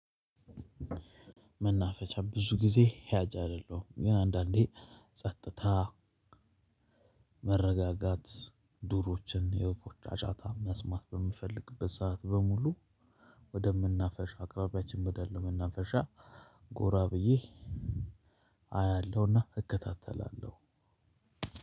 መናፈሻ ብዙ ጊዜ ሂያዥ አይደለሁም። ግን አንዳንዴ ጸጥታ- መረጋጋት ዱሮችን የወፎች አጫጫታ መስማት በምፈልግበት ሰዓት በሙሉ- ወደመናፈሻ አቅራቢያችን ወዳለ መናፈሻ ጎራ ብዬ አያለሁና እከታተላለሁ።